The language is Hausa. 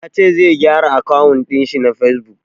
Ya ce zai gyara akawun ɗin shi na fesbuk.